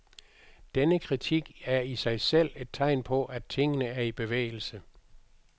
Denne kritik er i sig selv et tegn på, at tingene er i bevægelse.